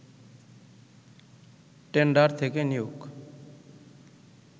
tender থেকে নিয়োগ